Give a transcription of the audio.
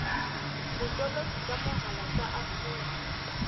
botoloki ka mohala tsa afrika